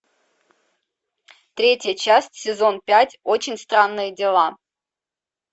третья часть сезон пять очень странные дела